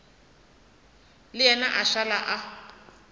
le yena a šala a